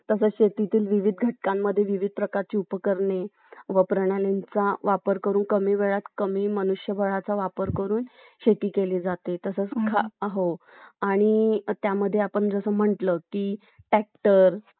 तसेच शेतीतून विविध घटकांमधे विविध प्रकारची उपकरणे व प्रणालींचा वापर करून कमी वेळात कमी मनुष्यबळाचा वापर करून शेती केली जाते तसंच हो आणि त्यामध्ये आपण जसं म्हणलं की Tractor